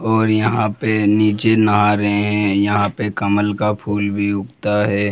और यहां पर नीचे नहा रहे है यहां पे कमल का फूल भी उगता है।